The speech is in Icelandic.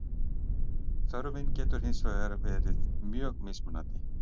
þörfin getur hins vegar verið mjög mismunandi